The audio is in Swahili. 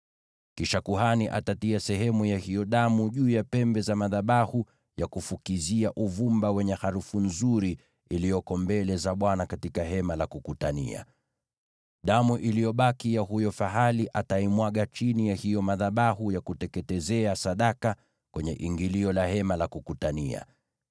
Kisha kuhani atatia sehemu ya hiyo damu juu ya pembe za madhabahu ya kufukizia uvumba wenye harufu nzuri iliyoko mbele za Bwana katika Hema la Kukutania. Damu iliyobaki ya huyo fahali ataimwaga chini ya hayo madhabahu ya kuteketezea sadaka kwenye ingilio la Hema la Kukutania.